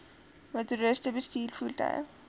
motoriste bestuur voertuie